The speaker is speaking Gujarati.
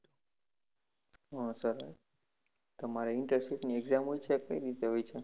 હા સરસ તમારે internship ની exam કઈ રીતે હોય છે